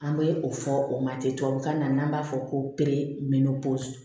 An bɛ o fɔ o ma ten tubabukan na n'an b'a fɔ ko